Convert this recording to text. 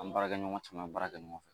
An baarakɛɲɔgɔn caman caman baara kɛ ɲɔgɔn fɛ